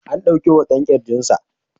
An dauki hoton kirjinsa.